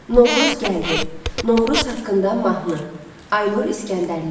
Novruz gəldi, Novruz haqqında mahnı, Aynur İsgəndərli.